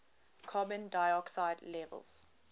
carbon dioxide levels